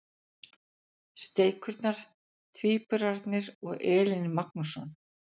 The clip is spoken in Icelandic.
Steikurnar- Tvíburarnir og Elín Magnússon.